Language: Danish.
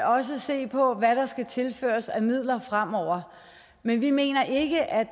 også se på hvad der skal tilføres af midler fremover men vi mener ikke at